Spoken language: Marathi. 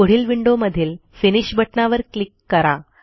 पुढील विंडोमधील फिनिश बटणावर क्लिक करा